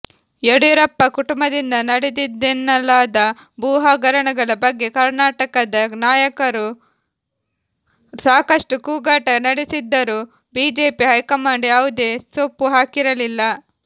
ಯಡಿಯೂರಪ್ಪ ಕುಟುಂಬದಿಂದ ನಡೆದಿದೆಯೆನ್ನಲಾದ ಭೂಹಗರಣಗಳ ಬಗ್ಗೆ ಕರ್ನಾಟಕದ ನಾಯಕರು ಸಾಕಷ್ಟು ಕೂಗಾಟ ನಡೆಸಿದ್ದರೂ ಬಿಜೆಪಿ ಹೈಕಮಾಂಡ್ ಯಾವುದೇ ಸೊಪ್ಪು ಹಾಕಿರಲಿಲ್ಲ